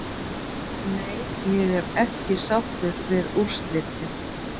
Nei ég er ekki sáttur við úrslitin.